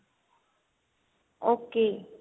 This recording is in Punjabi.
ok